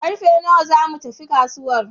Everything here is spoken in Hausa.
Karfe nawa za mu tafi kasuwar?